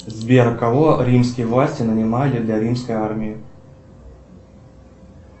сбер кого римские власти нанимали для римской армии